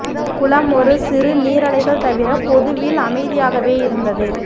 குளம் ஒரு சிறு நீரலைகள் தவிர பொதுவில் அமைதியாகவே இருந்தது